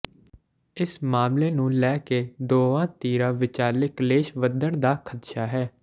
ਇਸ ਮਾਮਲੇ ਨੂੰ ਲੈ ਕੇ ਦੋਵਾਂ ਧਿਰਾਂ ਵਿਚਾਲੇ ਕਲੇਸ਼ ਵਧਣ ਦਾ ਖਦਸ਼ਾ ਹੈ